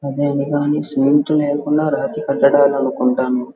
రాతి కట్టడాలు అనుకుంటాను.